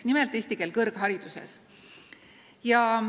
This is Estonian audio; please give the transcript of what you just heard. Nimelt, eesti keel kõrghariduses.